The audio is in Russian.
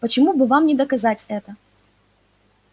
почему бы вам не доказать это